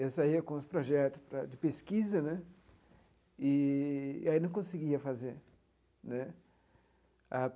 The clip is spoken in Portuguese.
Eu saía com os projetos para de pesquisa né, e aí não conseguia fazer né.